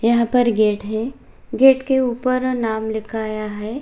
यहां पर गेट है गेट के ऊपर नाम लिखाया है।